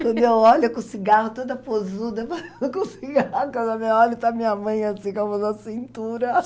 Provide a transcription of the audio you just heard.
Quando eu olho, com o cigarro toda posuda, com o cigarro, quando eu olho, está minha mãe assim, com a mão na cintura.